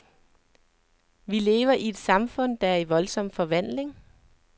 Vi lever i et samfund, der er i voldsom forvandling.